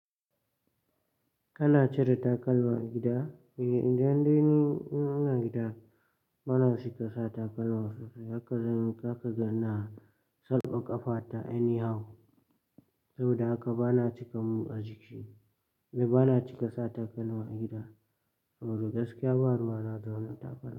Kana cire takalma a gida? Idan dai ni ina gida bana cika sa takalma sosai. Haka zan yi, haka zakaga ina, saka ƙafa ta anyhow saboda haka bana cika mu a jiki. Ni bana cika sa takalma a gida saboda gaskiya ba ruwa na da wani takalma.